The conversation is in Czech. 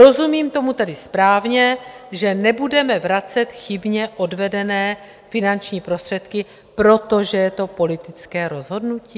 Rozumím tomu tedy správně, že nebudeme vracet chybně odvedené finanční prostředky, protože to je politické rozhodnutí?